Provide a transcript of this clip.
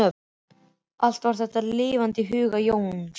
Allt var þetta lifandi í huga Jóns.